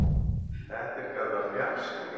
Þetta er kallað fjarsýni.